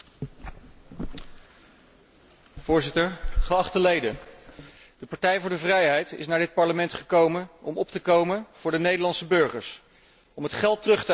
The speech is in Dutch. De Partij voor de Vrijheid is naar dit Parlement gekomen om op te komen voor de Nederlandse burgers, om het geld terug te eisen dat Nederland te veel betaalt aan dit geldverslindende en bureaucratische Europa.